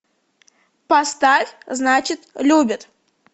поставь значит любит